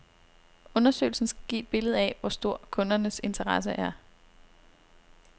Undersøgelsen skal give et billede af, hvor stor kundernes interesse er.